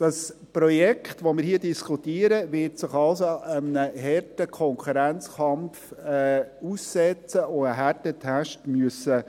Das Projekt, welches wir hier diskutieren, wird sich also einem harten Konkurrenzkampf aussetzen und einen Härtetest bestehen müssen.